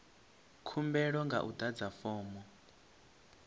khumbelo nga u adza fomo